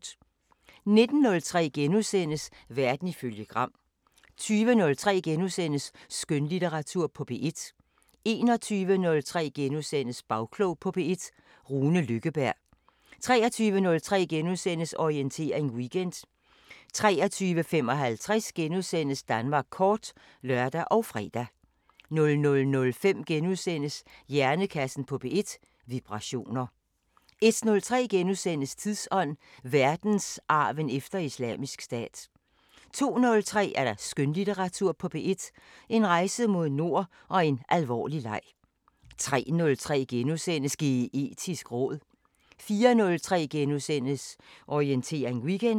19:03: Verden ifølge Gram * 20:03: Skønlitteratur på P1 * 21:03: Bagklog på P1: Rune Lykkeberg * 23:03: Orientering Weekend * 23:55: Danmark kort *(lør og fre) 00:05: Hjernekassen på P1: Vibrationer * 01:03: Tidsånd: Verdensarven efter Islamisk Stat * 02:03: Skønlitteratur på P1: En rejse mod nord og en alvorlig leg 03:03: Geetisk råd * 04:03: Orientering Weekend *